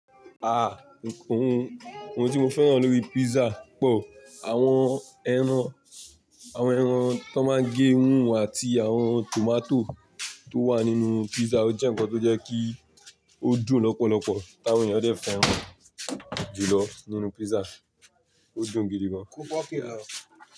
Ah! Òhun tí mo fẹ́ràn lórí pizza pọ̀, àwọn ẹran tó máa ń gé òun àti àwọn tomato tó wà nínú pizza, ó jẹ́ ǹkan tó jẹ́ kí ó dùn lọ́pọ̀lọpọ̀, àwọn ẹ̀yàn lè fẹ́ràn jùlọ nínú pizza, ó dùn gidi gan.